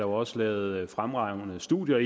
også lavet fremragende studier af